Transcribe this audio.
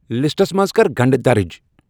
Lists منز کر گنڈٕ درج ۔